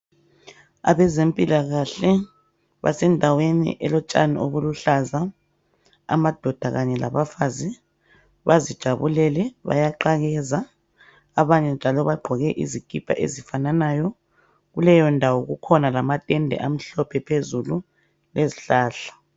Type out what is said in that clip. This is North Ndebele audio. Abezempilakahle basendaweni okulotshani obuluhlaza. Amadoda kanye labafazi bazijabulele, bayaqakeka. Abanye njalo bagqoke izikipa ezifananayo Kuleyondawo kukhona lamatende amhlophe phezulu elezihlahla .